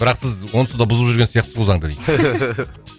бірақ сіз онсыз да бұзып жүрген сияқтысыз ғой заңды дейді